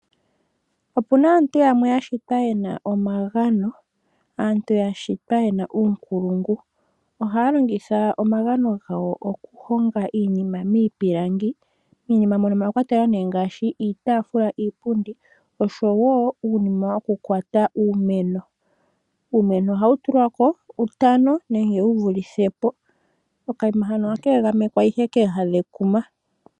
Opu na aantu yamwe ya shitwa ye na omagano, aantu ya shitwa ye na uunkulungu. Ohaya longitha omagano gawo okuhonga iinima miipilangi. Miinima mono omwa kwatelwa ngaashi iitaafula, iipundi nosho wo uunima wokukwata uumeno. Uumeno ohawu tulwa ko utano nenge wu vulithe po. Okaima hano ohaka egamekwa ihe kooha dhekuma.